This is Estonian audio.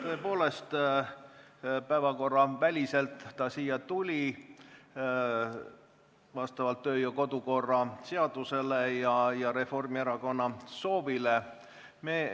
Tõepoolest, päevakorraväliselt tuli ettepaneku hääletus siia saali vastavalt kodu- ja töökorra seadusele ja Reformierakonna soovile.